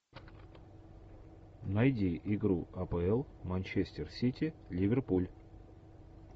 найди игру апл манчестер сити ливерпуль